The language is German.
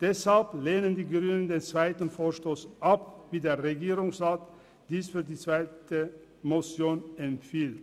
Deshalb lehnen die Grünen den zweiten Vorstoss ab, wie der Regierungsrat dies für die zweite Motion empfiehlt.